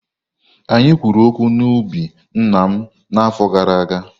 Anyị kwuru okwu na ubi nna m n'afọ gara aga.